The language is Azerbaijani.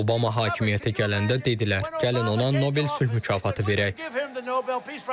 Obama hakimiyyətə gələndə dedilər, gəlin ona Nobel sülh mükafatı verək.